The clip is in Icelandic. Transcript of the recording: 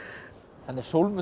þannig að